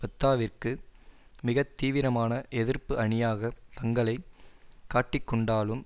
பத்தாவிற்கு மிக தீவிரமான எதிர்ப்பு அணியாக தங்களை காட்டிக்கொண்டாலும்